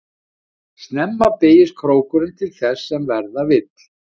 Snemma beygist krókurinn til þess sem verða vill.